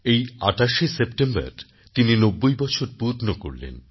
এই ২৮ সেপ্টেম্বর তিনি নব্বই বছর পূর্ণ করলেন